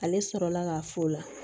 Ale sɔrɔla ka f'o la